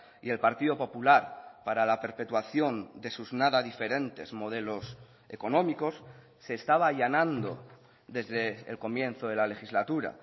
y el partido popular para la perpetuación de sus nada diferentes modelos económicos se estaba allanando desde el comienzo de la legislatura